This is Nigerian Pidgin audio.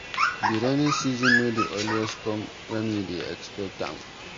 Di rainy season no dey always come wen we dey expect am.